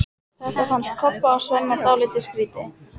Þetta fannst Kobba og Svenna dálítið skrýtið.